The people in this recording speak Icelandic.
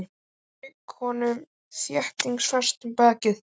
Hún strauk honum þéttingsfast á bakið.